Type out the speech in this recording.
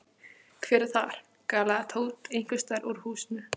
Hver er þar? galaði Tóti einhvers staðar úr húsinu.